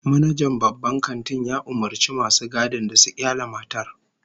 Manajan babban kantin ya umurci masu gadin da su kyale matar